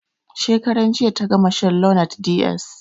Shekaran jiya ta gama shan lonart ds.